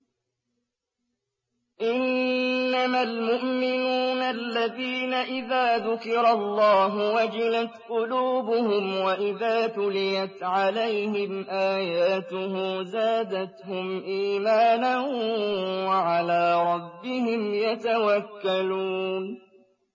إِنَّمَا الْمُؤْمِنُونَ الَّذِينَ إِذَا ذُكِرَ اللَّهُ وَجِلَتْ قُلُوبُهُمْ وَإِذَا تُلِيَتْ عَلَيْهِمْ آيَاتُهُ زَادَتْهُمْ إِيمَانًا وَعَلَىٰ رَبِّهِمْ يَتَوَكَّلُونَ